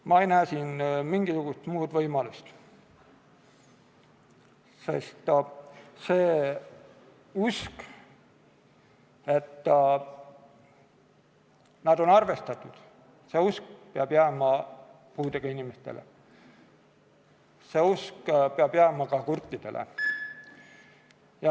Ma ei näe mingisugust muud võimalust, sest see usk, et nendega on arvestatud, peab jääma puudega inimestele, see usk peab jääma ka kurtidele.